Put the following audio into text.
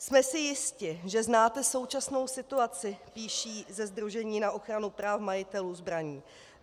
Jsme si jisti, že znáte současnou situaci, píší ze sdružení na ochranu práv majitelů zbraní.